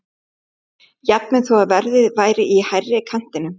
Jafnvel þó að verðið væri í hærri kantinum.